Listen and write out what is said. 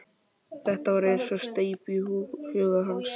Þetta var eins og steypt í huga hans.